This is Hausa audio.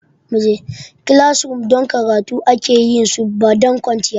Classrooms don karatu aka yi su ba don kwanciya ba.